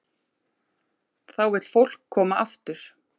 Þá vill fólk koma aftur.